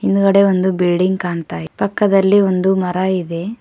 ಹಿಂದ್ಗಡೆ ಒಂದು ಬಿಲ್ಡಿಂಗ್ ಕಾಣ್ತಾ ಇದೆ ಪಕ್ಕದಲ್ಲಿ ಒಂದು ಮರ ಇದೆ.